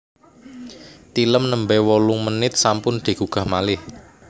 Tilem nembe wolong menit sampun digugah malih